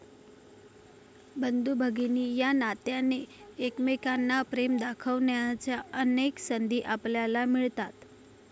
बंधुभगिनी या नात्याने, एकमेकांना प्रेम दाखवण्याच्या अनेक संधी आपल्याला मिळतात.